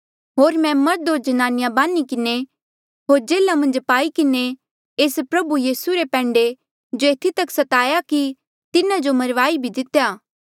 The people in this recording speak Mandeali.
होर मैं मर्ध होर ज्नानिया बान्ही किन्हें होर जेल्हा मन्झ पाई किन्हें एस प्रभु यीसू रे पैंडे जो एथी तक स्ताया कि तिन्हा जो मरवाई भी दे